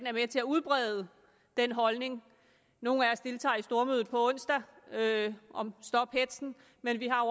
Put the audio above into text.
er med til at udbrede den holdning nogle af os deltager i stormødet på onsdag om stop hetzen men vi har